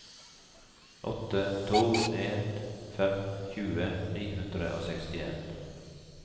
åtte to en fem tjue ni hundre og sekstien